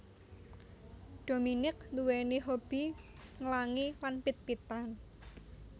Dominique nduwèni hobby nglangi lan pit pitan